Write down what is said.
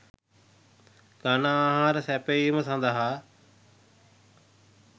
ඝන ආහාර සැපැයීම සඳහා